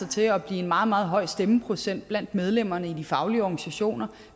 til at blive en meget meget høj stemmeprocent blandt medlemmerne i de faglige organisationer